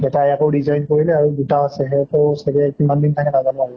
এটাই আকৌ resign কৰিলে আৰু দুটা আছে। সিহঁতেও চাগে কিমান দিন থাকে নাজানো আৰু।